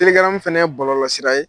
Telegram fana ye bɔlɔsira ye